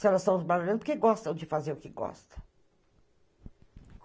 Se elas estão trabalhando, porque gostam de fazer o que gostam.